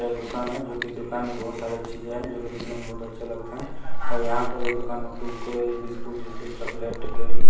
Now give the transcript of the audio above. एक दुकान है जो कि दुकान में बहुत सारी चीजें हैं जो कि दिखने में बहुत अच्छे लगते हैं और यहाँ पर जो दुकान में कुरकुरे बिस्कुट -विस्कुट चॉकलेट टोकलते इ --